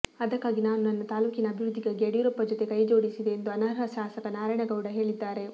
ಅದಕ್ಕಾಗಿ ನಾನು ನನ್ನ ತಾಲೂಕಿನ ಅಭಿವೃದ್ಧಿಗಾಗಿ ಯಡಿಯೂರಪ್ಪ ಜೊತೆ ಕೈ ಜೋಡಿಸಿದೆ ಎಂದು ಅನರ್ಹ ಶಾಸಕ ನಾರಾಯಣಗೌಡ ಹೇಳಿದ್ದಾರೆ